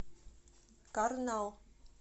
карнал